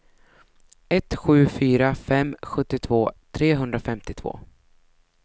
ett sju fyra fem sjuttiotvå trehundrafemtiotvå